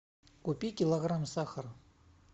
купи килограмм сахара